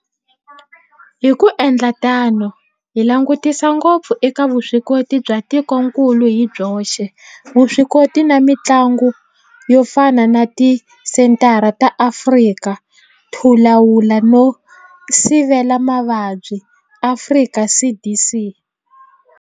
Hi ku endla tano hi langutisa ngopfu eka vuswikoti bya tikokulu hi byoxe, vuswikoti na mihlangano yo fana na Tisenthara ta Afrika to Lawula no Sivela Mavabyi, Afrika CDC.